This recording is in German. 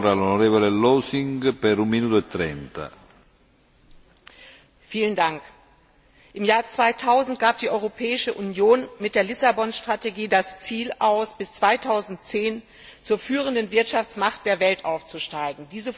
Herr Präsident! Im Jahr 2000 gab die Europäische Union mit der Lissabon Strategie das Ziel aus, bis 2010 zur führenden Wirtschaftsmacht der Welt aufzusteigen.